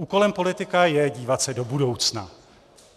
Úkolem politika je dívat se do budoucna.